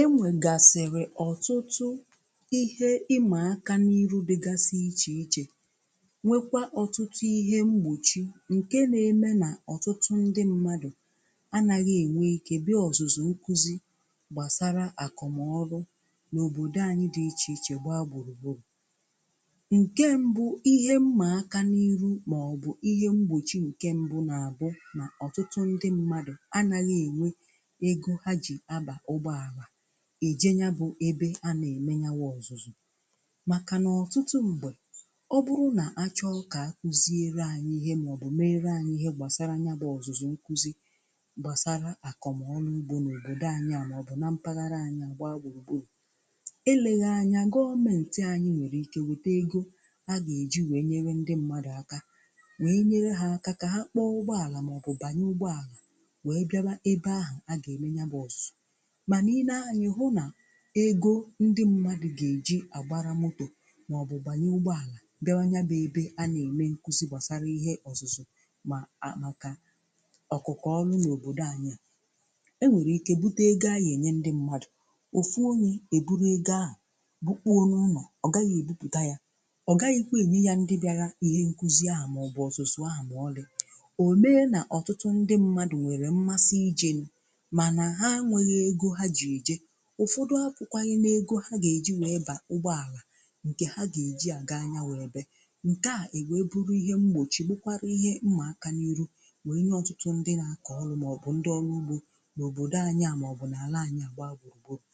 E nwègàsịrị ọ̀tụtụ ihe ịmà akȧ n’iru dịgasị ichè ichè nwekwa ọ̀tụtụ ihe mgbòchi ǹkè na-eme nà ọ̀tụtụ ndị mmadụ̀ anàghị̇ ènwe ike bịa ọ̀zụ̀zụ̀ nkụzi gbàsara àkụ̀mọrụ n’òbòdò anyị dị̇ ichè ichè gbaa gbùrùgbùrù. Nke mbụ ihe mmà aka n’iru màọbụ̀ ihe mgbòchi ǹkè mbụ na-àbụ nà ọ̀tụtụ ndị mmadụ̀ anàghị̇ ènwe ego ha ji aba ụgbọala eje ya bụ̀ ebe a na-eme yawụ ọzụzụ̀. Makà nà ọtụtụ mgbe, ọ bụrụ nà a chọọ kà a kụziere anyị ihe maọ̀bụ̀ meere anyị ihe gbasarà nya bụ̀ ọzụzụ̀ nkụzị̀ gbasarà akọ̀mọọrụ ugbò n’òbodò anyị à maọ̀bụ̀ na mpaghara anyị agba gburugburu. ̀Eleghị anya gọọmentì anyị nwere ike wetà egȯ a ga-eji wee nyere ndị mmadụ̀ aka wee nyere ha aka kà ha kpọọ ụgbọàlà maọ̀bụ̀ banye ụgbọàlà wee bịawa ebe ahụ a ga-eme ya wụ ọzụzụ. Manà i nee anya i hụ na ego ndị mmadụ̀ ga-eji agbara motò maọ̀bụ̀ banye ụgbọalà bịawa nya bebe a na-eme nkụzi gbasara ihe ọzụzụ̀ ma anọka, ọkụkọ̀ ọlụ̀ n’òbodò anyị̀ a e nwere ike bute egȯ aye enye ndị mmadụ̀, ofu onyee buru ego àhụ bukpuo n’ụnọ̀, ọ gaghị̀ ebuputà yà, ọ gaghị̀kwa enye yà ndị bịara ihe nkụzi ahụ̀ maọ̀bụ̀ ọzụzụ̀ ahụ̀ maọ̀lị̀. O mee na ọtụtụ ndị mmadụ̀ nwere mmasị ijen mana ha nweghị ego ji eje. Ụfọdụ̀ ahụkwàghị n’ego ha ga-eji wee bà ụgbọàlà nke ha ga-eji àga nya wụ ebè. Nke à e wee bụrụ ihe mgbochi bụkwarà ihe mmà aka n’iru wee nye ọtụtụ ndị nà-akọ̀ ọlụ̀ màọbụ̀ ndị ọlụ̀ ugbò n’obòdò anyị à màọbụ̀ n’ala anyị̀ à gba gburugburu.